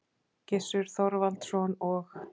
Gissur Þorvaldsson og